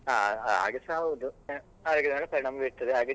ಹಾ ಹಾಗೇಸ ಹೌದು ಪರಿಣಾಮ ಬೀರ್ತದೆ ಹಾಗೆ.